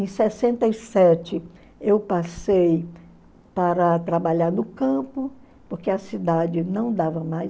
Em sessenta e sete, eu passei para trabalhar no campo, porque a cidade não dava mais.